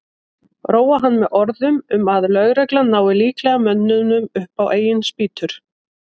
Róa hann með orðum um að lögreglan nái líklega mönnunum upp á eigin spýtur.